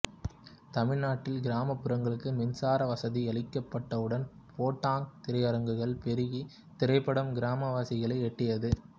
தமிழ்நாட்டில் கிராமப்புறங்களுக்கு மின்சார வசதி அளிக்கப்பட்டவுடன் போட்டோங் திரையரங்குகள் பெருகி திரைப்படம் கிராமவாசிகளையும் எட்டியது